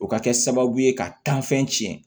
O ka kɛ sababu ye ka tiɲɛ